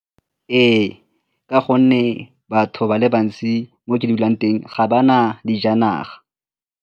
Ee, ka gonne batho ba le bantsi mo ke dulang teng ga ba na dijanaga.